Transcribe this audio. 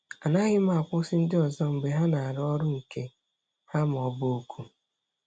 Anaghị m akwụsị ndị ọzọ mgbe ha na-arụ ọrụ nke ha ma ọ bụ oku.